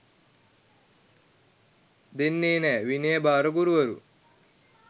දෙන්නේ නෑ විනය භාර ගුරුවරු